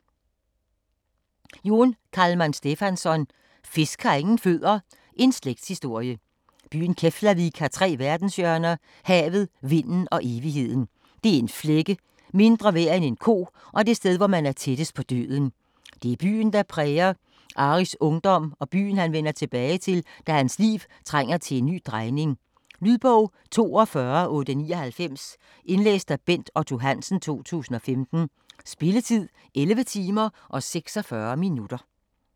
Jón Kalman Stefánsson: Fisk har ingen fødder: en slægtshistorie Byen Keflavik har tre verdenshjørner; havet, vinden og evigheden. Det er en flække - mindre værd end en ko og det sted, hvor man er tættest på døden. Det er byen, der præger Aris ungdom og byen han vender tilbage til, da hans liv trænger til at tage en ny drejning. Lydbog 42899 Indlæst af Bent Otto Hansen, 2015. Spilletid: 11 timer, 46 minutter.